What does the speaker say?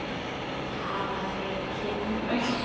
Hafa þeir kynmök?